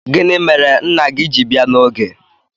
Gini mere nna gi ji bia n'oge?